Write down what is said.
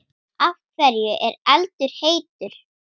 Af hverju er eldur heitur?